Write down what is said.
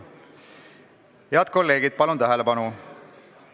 Head kolleegid, palun tähelepanu!